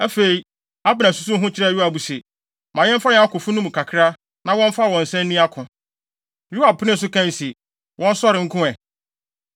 Afei, Abner susuw ho kyerɛɛ Yoab se, “Ma yɛmfa yɛn akofo no mu kakra, na wɔmfa wɔn nsa nni ako.” Yoab penee so kae se, “Wɔnsɔre nko ɛ.”